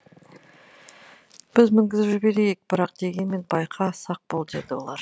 біз мінгізіп жіберейік бірақ дегенмен байқа сақ бол деді олар